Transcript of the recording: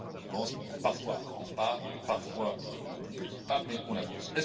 On avance, parfois à grand pas, parfois à plus petits pas, mais on avance.